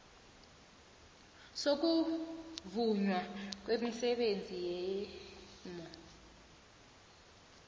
sokuvunywa kwemisebenzi yegmo